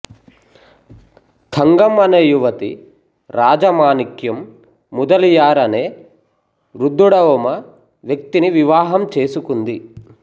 తంగం అనే యువతి రాజమానిక్యం ముదలియార్ అనే వృద్దుడఒమ వ్యక్తిని వివాహం చేసుకుంది